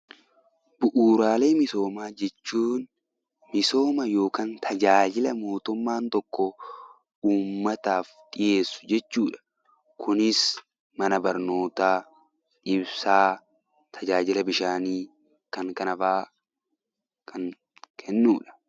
Bu'uuraalee misoomaa jechuun misoomaa yookiin tajaajila mootummaan tokko uummataaf dhiheessuu jechuudha. Kunis mana barnootaa, ibsaa fi tajaajila fayyaa kan kennudha.